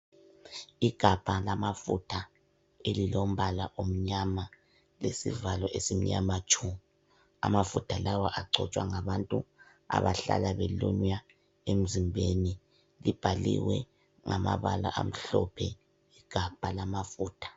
Igabha lamafutha elilombala omnyama lesivalo esimnyama tshu amafutha lawa agcotshwa ngabantu abahlala belunywa emzimbeni libhaliwe ngamabala amahlophe igabha lamafutha.